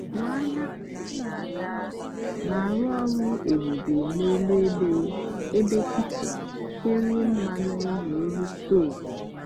ngwaahịa m na-aga na-arụ ọrụ ebube n'elu ebe ebe kichin kerie mmanụ na n'elu stovu.